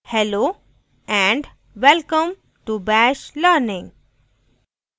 hello and welcome to bash learning